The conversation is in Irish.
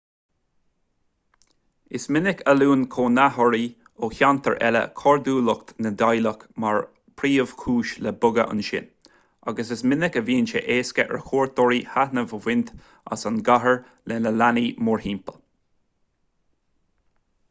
is minic a luann cónaitheoirí ó cheantair eile cairdiúlacht na dteaghlach mar phríomhchúis le bogadh ansin agus is minic a bhíonn sé éasca ar chuairteoirí taitneamh a bhaint as an gcathair le leanaí mórthimpeall